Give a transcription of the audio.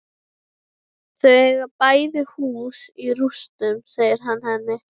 Þau eiga bæði hús í rústum, segir hann henni.